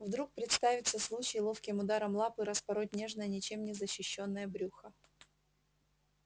вдруг представится случай ловким ударом лапы распороть нежное ничем не защищённое брюхо